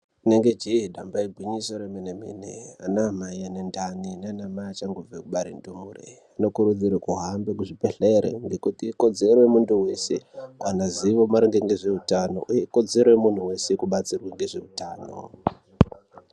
Inenge jee damba igwinyiso remene-mene, anamai ane ndani ,naanamai achangobva kubare ndore , zvinokurudzirwa ahambe kuchibhedhlere ngekuti ikodzero yemuntu wese kuwana zivo maringe ngezveutano, uye ikodzero yemuntu wese kubatsirwa ngezveutano.